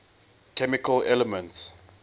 chemical elements